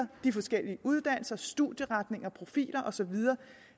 de forskellige uddannelser studieretninger profiler og så videre